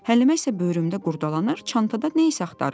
Həlimə isə böyrümdən qurdalanır, çantada nə isə axtarırdı.